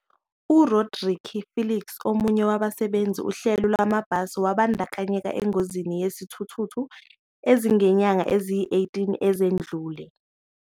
U-Rodrique Felix, omunye wabasebenzisa uhlelo lwamabhasi, wabandakanyeka engozini yesithuthuthu ezinyangeni eziyi-18 ezidlule.